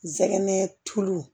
Sɛgɛn tulu